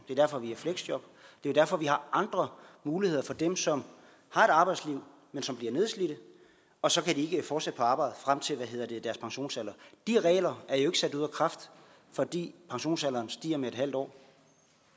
er derfor vi har fleksjob det er derfor vi har andre muligheder for dem som har et arbejdsliv men som bliver nedslidte og så kan de ikke fortsætte på arbejde frem til deres pensionsalder de regler er jo ikke sat ud af kraft fordi pensionsalderen stiger med et halvt år